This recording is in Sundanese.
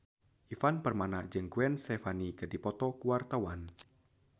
Ivan Permana jeung Gwen Stefani keur dipoto ku wartawan